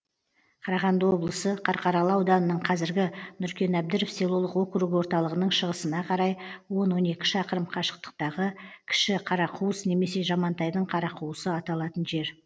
қарағанды облысы қарқаралы ауданының қазіргі нұркен әбдіров селолық округі орталығының шығысына қарай он он екі шақырым қашықтықтағы кіші қарақуыс немесе жамантайдың қарақуысы аталатын жер